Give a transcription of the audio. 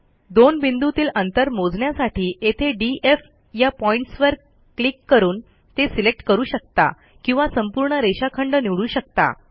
दोन बिंदूतील अंतर मोजण्यासाठी येथे डीएफ या पॉईंटसवर क्लिक करून ते सिलेक्ट करू शकता किंवा संपूर्ण रेषाखंड निवडू शकता